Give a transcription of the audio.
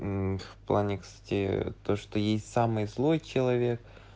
в плане кстати то что есть самый злой человек